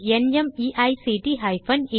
தமிழாக்கம் பிரியா